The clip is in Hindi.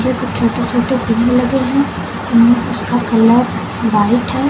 और कुछ छोटे छोटे पेड़ लगे हैं उसका कलर व्हाइट है।